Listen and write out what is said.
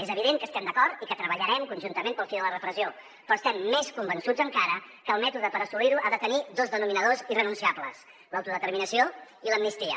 és evident que estem d’acord i que treballarem conjuntament pel fi de la repressió però estem més convençuts encara que el mètode per assolir ho ha de tenir dos denominadors irrenunciables l’autodeterminació i l’amnistia